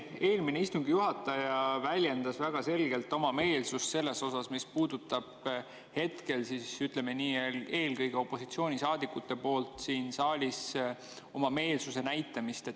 Eelmine istungi juhataja väljendas väga selgelt seda, mis puudutab hetkel, ütleme nii, eelkõige opositsioonisaadikute poolt siin saalis oma meelsuse näitamist.